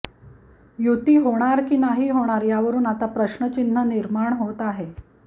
युती होणार की नाही होणार यावरुन आता प्रश्नचिन्ह निर्माण होत आहे